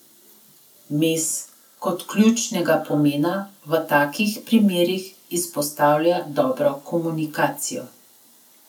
Mes kot ključnega pomena v takih primerih izpostavlja dobro komunikacijo.